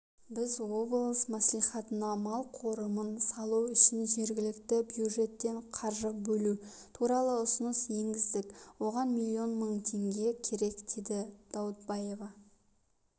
біз облыс мәслихатына мал қорымын салу үшін жергілікті бюджеттен қаржы бөлу туралы ұсыныс енгіздік оған миллион мың теңге керек деді даутбаева